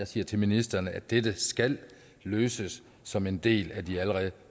siger til ministeren at dette skal løses som en del af de allerede